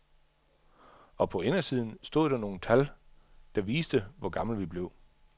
Og på indersiden stod nogle tal, der viste, hvor gamle vi blev.